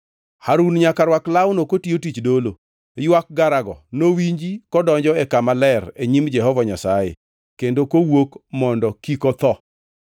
Harun nyaka rwak lawno kotiyo tich dolo. Ywak garago nowinji kodonjo e Kama Ler e nyim Jehova Nyasaye kendo kowuok mondo kik otho.